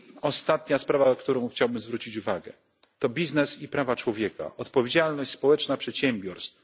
Ostatnia sprawa, na którą chciałbym zwrócić uwagę, to biznes i prawa człowieka, czyli odpowiedzialność społeczna przedsiębiorstw.